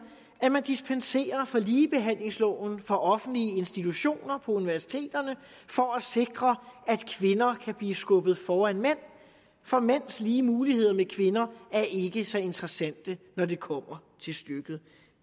at man dispenserer fra ligebehandlingsloven for offentlige institutioner på universiteterne for at sikre at kvinder kan blive skubbet foran mænd for mænds lige muligheder med kvinder er ikke så interessante når det kommer til stykket